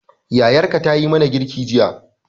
Yayarka tayi mana girki jiya